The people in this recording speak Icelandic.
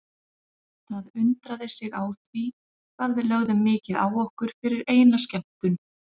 Það undraði sig á því hvað við lögðum mikið á okkur fyrir eina skemmtun.